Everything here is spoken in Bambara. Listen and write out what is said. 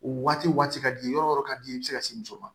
O waati waati ka di yɔrɔ yɔrɔ ka di i bɛ se ka se muso ma